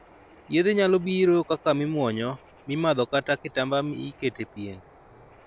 Yedhe nyalo biro kaka mimuonyo, mimadho kata kitamba mi ikete e pien.